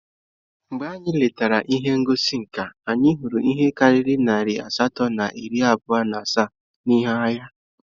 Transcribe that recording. Mgbe anyị letara ihe ngosi nka, anyị hụrụ ihe karịrị narị asatọ na iri abụọ na asaa ihe agha